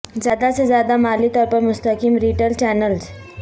زیادہ سے زیادہ مالی طور پر مستحکم ریٹیل چینلز